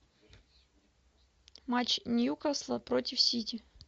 матч ньюкасла против сити